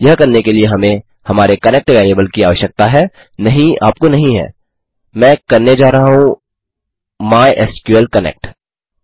यह करने के लिए हमें हमारे कनेक्ट वेरिएबल की आवश्यकता है नहीं आपको नहीं हैमैं करने जा रहा हूँ माय एसक्यूएल कनेक्ट